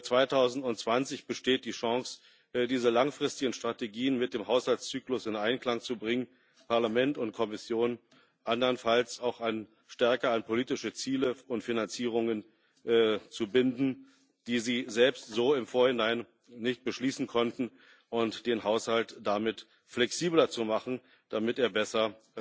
2020 besteht die Chance, diese langfristigen Strategien mit dem Haushaltszyklus in Einklang zu bringen Parlament und Kommission andernfalls auch stärker an politische Ziele und Finanzierungen zu binden, die sie selbst so im Vorhinein nicht beschließen konnten, und den Haushalt damit flexibler zu machen, damit er besser